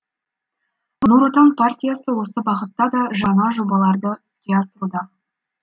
нұр отан партиясы осы бағытта да жаңа жобаларды іске асыруда